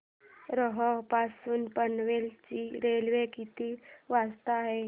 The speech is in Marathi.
रोहा पासून पनवेल ची रेल्वे किती वाजता आहे